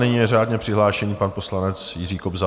Nyní je řádně přihlášený pan poslanec Jiří Kobza.